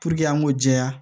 an ŋ'o jɛya